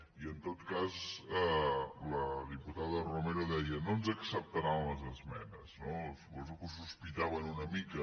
i en tot cas la diputada romero deia no ens acceptaran les esmenes no suposo que ho sospitaven una mica